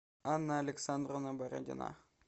анна александровна бородина